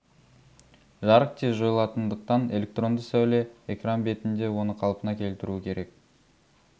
жарық тез жойылатындықтан электронды сәуле экран бетінде оны қалпына келтіруі керек